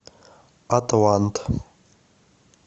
атлант